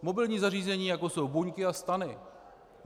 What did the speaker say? Mobilní zařízení, jako jsou buňky a stany.